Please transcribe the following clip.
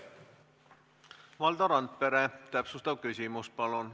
Valdo Randpere, täpsustav küsimus, palun!